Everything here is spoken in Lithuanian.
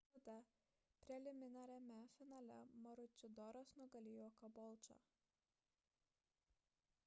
tada preliminariame finale maručidoras nugalėjo kabolčą